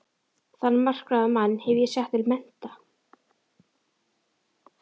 Þann makráða mann hef ég sett til mennta!